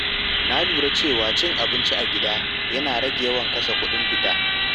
Na lura cewa cin abinci a gida yana rage yawan kashe kuɗin fita.